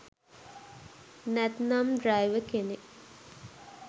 නැත්නම් ඩ්‍රැයිවර් කෙනෙක්